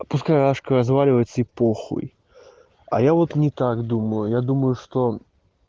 пускай ашка разваливается и похуй а я вот не так думаю я думаю что